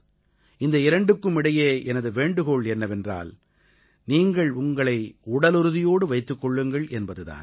இந்த இரண்டுக்கும் இடையே எனது வேண்டுகோள் என்னவென்றால் நீங்கள் உங்களை உடலுறுதியோடு வைத்துக் கொள்ளுங்கள் என்பது தான்